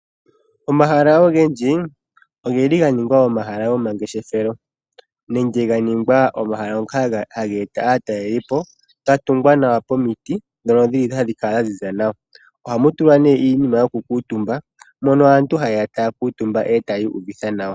Omahala ogendji oge li ganingwa omahala gomangeshethelo, nenge ganingwa omahala ngoka haga eta aatalelipo, gatungwa nawa pomiti, ndhono dhi li hadhi kala dhaziza nawa. Ohamu tulwa nee iinima yokukuuntumba, mono aantu hayeya taya kuuntumba, e tayii uvitha nawa.